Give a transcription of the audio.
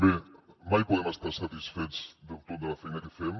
bé mai podem estar satisfets del tot de la feina que fem